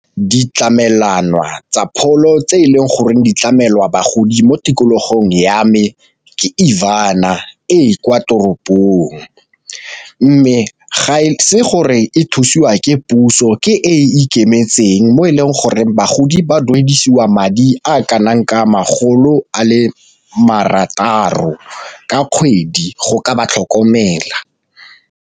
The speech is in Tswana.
Ditlamelwana tsa pholo tse e leng goreng ditlamelwa bagodi mo tikologong ya me ke e kwa toropong, mme ga e se gore e thusiwa ke puso ke e e ikemetseng mo e leng gore bagodi ba duedisiwa madi a kanang ka makgolo a le marataro ka kgwedi go ka ba tlhokomela.